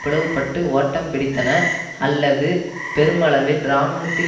பிளவுபட்டு ஓட்டம் பிடித்தன அல்லது பெருமளவில் இராணுவத்தில்